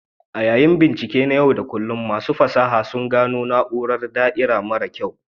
A yayin bincike na yau da kullun, masu fasaha sun gano na'urar da'ira mara kyau.